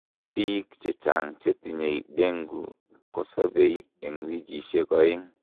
biik chechang chetinyei dengue kosobei en wikisiek oeng